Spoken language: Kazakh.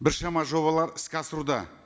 біршама жобалар іске асыруда